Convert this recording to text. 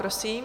Prosím.